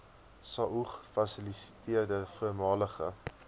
saog fasiliteerder voormalige